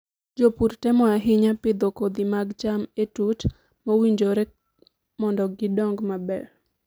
Jopur temo ahinya pidho kodhi mag cham e tut mowinjore mondo gidong maber.